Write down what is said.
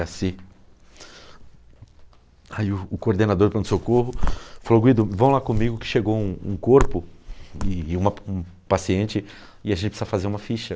cê. Aí o o coordenador do pronto-socorro falou, Guido, vão lá comigo que chegou um um corpo e e um uma paciente e a gente precisa fazer uma ficha.